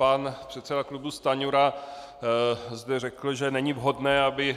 Pan předseda klubu Stanjura zde řekl, že není vhodné, aby